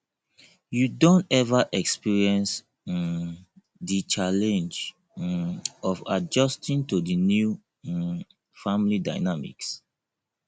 you don ever experience um di challenge um of adjusting to di new um family dynamics